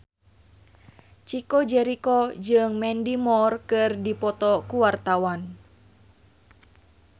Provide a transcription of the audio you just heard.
Chico Jericho jeung Mandy Moore keur dipoto ku wartawan